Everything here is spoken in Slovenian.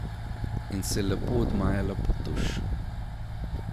In se je lepo odmajala pod tuš.